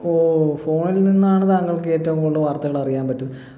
ഓ phone ൽ നിന്നാണ് താങ്കൾക്ക് ഏറ്റവും കൂടുതൽ വാർത്തകൾ അറിയാൻ പറ്റു